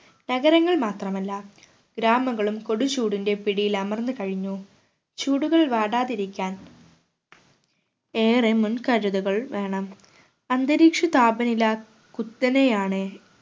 നഗരങ്ങൾ മാത്രമല്ല ഗ്രാമങ്ങളും കൊടുചൂടിൻറെ പിടിയിലമർന്നു കഴിഞ്ഞു ചൂടുകൾ വാടാതിരിക്കാൻ ഏറെ മുൻകരുതുകൾ വേണം അന്തരീക്ഷ താപനില കുത്തനെയാണ്